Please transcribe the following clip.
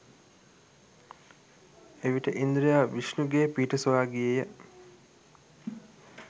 එවිට ඉන්ද්‍රයා විෂ්ණුගේ පිහිට සොයා ගියේය.